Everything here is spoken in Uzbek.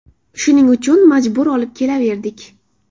Shuning uchun majbur olib kelaverdik.